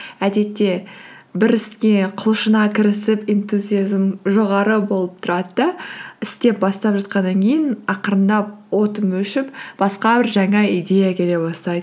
әдетте бір іске құлшына кірісіп интузиазм жоғары болып тұрады да істеп бастап жатқаннан кейін ақырындап отым өшіп басқа бір жаңа идея келе бастайды